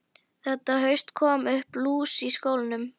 Þetta haust kom upp lús í skólanum.